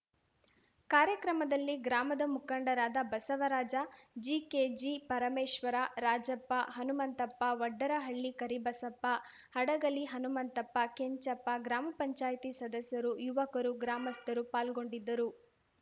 ಕಾರ್ಯಕ್ರಮದಲ್ಲಿ ಗ್ರಾಮದ ಮುಖಂಡರಾದ ಬಸವರಾಜಜಿಕೆ ಜಿಪರಮೇಶ್ವರ ರಾಜಪ್ಪ ಹನುಮಂತಪ್ಪ ವಡ್ಡರಹಳ್ಳಿ ಕರಿಬಸಪ್ಪ ಹಡಗಲಿ ಹನುಮಂತಪ್ಪ ಕೆಂಚಪ್ಪ ಗ್ರಾಮ ಪಂಚಾಯ್ತಿ ಸದಸ್ಯರು ಯುವಕರು ಗ್ರಾಮಸ್ಥರು ಪಾಲ್ಗೊಂಡಿದ್ದರು